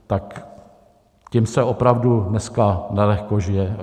Tak těm se opravdu dneska nelehko žije.